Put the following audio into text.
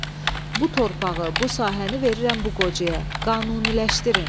Bu torpağı, bu sahəni verirəm bu qocaya, qanuniləşdirin.